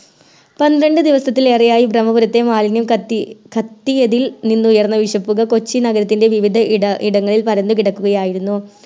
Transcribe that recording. പന്ത്രണ്ട് ദിവസത്തിലേറെയായി ബ്രമ്മപുരത്തെ മാലിന്യം കത്തി കത്തിയതിൽ നിന്നുയർന്ന വിഷപ്പുക കൊച്ചി നഗരത്തിൻറെ വിവിധയിടങ്ങളിൽ പരന്ന് കിടക്കുകയായിരുന്നു